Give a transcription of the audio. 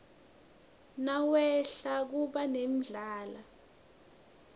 nawehla kuba nendlala